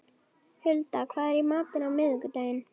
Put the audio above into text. Hulda, hvað er í matinn á miðvikudaginn?